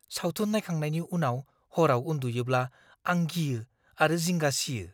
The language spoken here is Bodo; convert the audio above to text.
सावथुन नायखांनायनि उनाव हराव उन्दुयोब्ला आं गियो आरो जिंगा सियो।